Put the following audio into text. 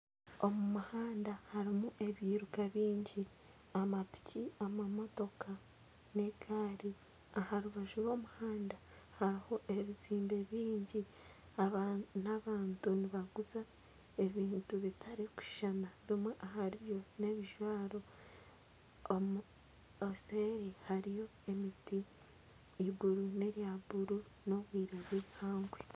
Omu muhanda harimu ebyiruka byingi amapiki , amamotoka na egari. Aha rubaju rw'omuhanda hariho ebizimbe byingi. Aba ni abantu nibaguza ebintu bitarukushushana bimwe ahari byo nebijwaro obuseeri hariyo emiti iguru nerya bururu ni obwire bwihangwe.